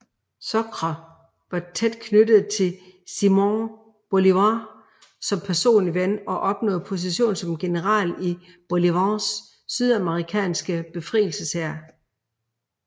Sucre var tæt knyttet til Simón Bolívar som personlig ven og opnåede position som general i Bolívars sydamerikanske befrielseshær